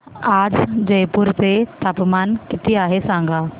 आज जयपूर चे तापमान किती आहे सांगा